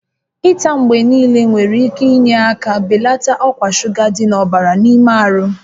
Ịta mgbe niile nwere ike inye aka belata ọkwa shuga dị n'ọbara n'ime ahụ